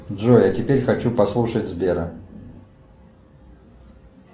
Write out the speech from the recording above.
джой а теперь хочу послушать сбера